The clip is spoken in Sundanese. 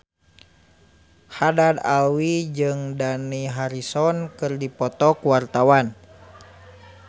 Haddad Alwi jeung Dani Harrison keur dipoto ku wartawan